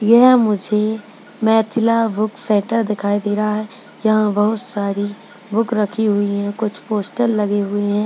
यह मुझे Maithila book centre दिखाई दे रहे है यहां बहुत सारी बुक रखी हुई है कुछ पोस्टर लगे हुए हैं।